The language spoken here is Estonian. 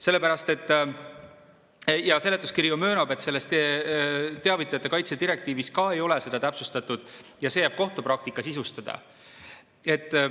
Sellepärast, et seletuskiri ju möönab, et selles teavitajate kaitse direktiivis ka ei ole seda täpsustatud ja see jääb kohtupraktika sisustada.